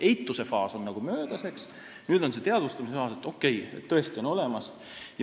Eituse faas on möödas, nüüd on see teadvustamise faas, et okei, tõesti on olemas.